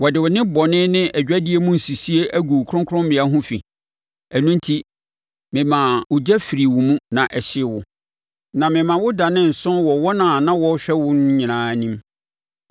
Wode wo nnebɔne ne adwadie mu nsisie agu wo kronkrommea ho fi, ɛno enti memaa ogya firii wo mu na ɛhyee wo, na mema wo danee nsõ wɔ wɔn a na wɔrehwɛ no nyinaa anim.